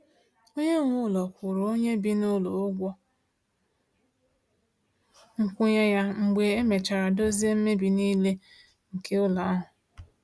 Onye nwe ụlọ kwụrụ onye bi n’ụlọ ụgwọ nkwụnye ya mgbe e mechara dozie mmebi nile nke ụlọ ahụ.